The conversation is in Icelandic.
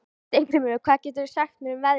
Steingrímur, hvað geturðu sagt mér um veðrið?